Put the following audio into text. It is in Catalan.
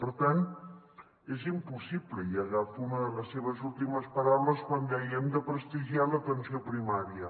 per tant és impossible i agafo una de les seves últimes paraules quan dèiem de prestigiar l’atenció primària